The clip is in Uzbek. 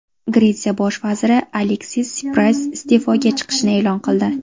Gretsiya bosh vaziri Aleksis Sipras iste’foga chiqishini e’lon qildi.